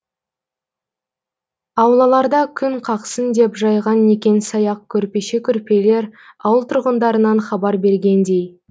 аулаларда күн қақсын деп жайған некен саяқ көрпеше көрпелер ауыл тұрғындарынан хабар бергендей